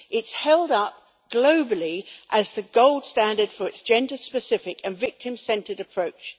It is held up globally as the gold standard for its gender specific and victim centred approach.